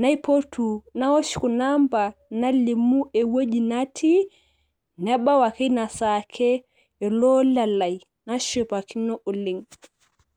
naipotu naosh kuna ampa nalimu ewueji natii, nebau ake ina saa ake ele ola lai, nashipakino ina saa oleng.